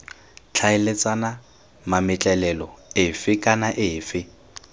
tlhaeletsana mametlelelo efe kana efe